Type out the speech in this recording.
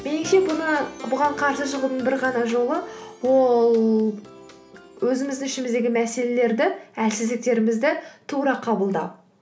меніңше бұған қарсы шығудың бір ғана жолы ол өзіміздің ішіміздегі мәселелерді әлсіздіктерімізді тура қабылдау